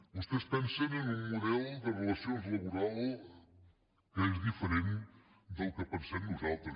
vostès pensen en un model de relacions laborals que és diferent del que pensem nosaltres